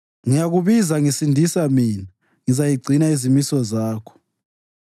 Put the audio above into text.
Ngiyakubiza, ngisindisa mina ngizagcina izimiso zakho.